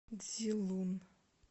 цзилун